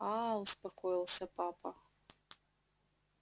аа успокоился папа